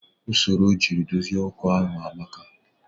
Usoro ojiri dozi okooko ahụ amaka